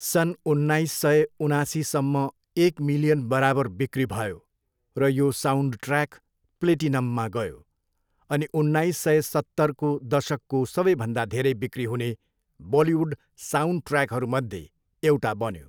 सन् उन्नाइस सय उनासीसम्म एक मिलियन बराबर बिक्री भयो र यो साउन्डट्र्याक प्लेटिनममा गयो, अनि उन्नाइस सय सत्तरको दशकको सबैभन्दा धेरै बिक्री हुने बलिउड साउन्डट्र्याकहरूमध्ये एउटा बन्यो।